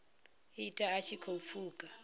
ita a tshi khou pfuka